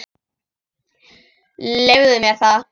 Leyfðu mér það,